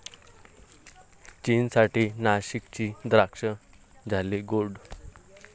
चीनसाठी नाशिकची द्राक्षं झाली गोड!